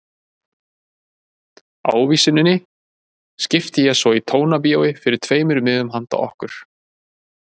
Ávísuninni skipti ég svo í Tónabíói fyrir tveimur miðum handa okkur.